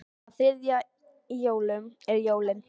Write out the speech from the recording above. Á þriðja í jólum eru jólin.